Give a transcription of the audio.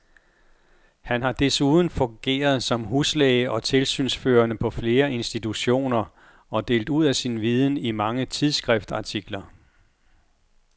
Han har desuden fungeret som huslæge og tilsynsførende på flere institutioner og delt ud af sin viden i mange tidsskriftsartikler.